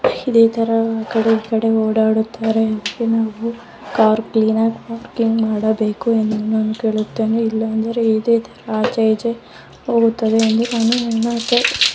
ಇದೇತರ ಆಕಡೆ ಈಕಡೆ ಓಡಾಡುತ್ತಾರೆ ಮತ್ತೆ ನಾವು ಕಾರ್ ಕ್ಲೀನ್ ಆಗಿ ವರ್ಕಿಂಗ್ ಮಾಡಬೇಕು ಎಂದು ನಾನು ಕೇಳುತ್ತೇನೆ ಇಲ್ಲಾ ಅಂದ್ರೆ ಇದೆ ತರ ಆಚೆ ಈಚೆ .]